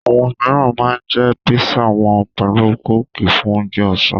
Àwọn míìràn ma ń jẹ́ písà wọn pẹ̀lú kóòkì fún ounje ọ̀sán